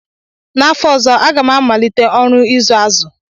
N'fọ ọzọ, m ga-amalite ọrụ ịzụ azụ